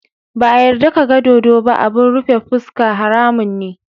Ba a yarda ka ga dodo ba abun rufe fuska, haramun ne.